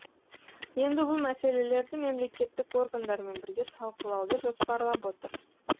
енді бұл мәселелерді мемлекеттік органдармен бірге талқылауды жоспарлап отыр